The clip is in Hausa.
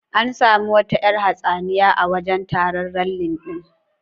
An sami wata yar hatsaniya a wajan taron ralli din